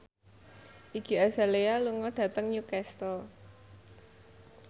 Iggy Azalea lunga dhateng Newcastle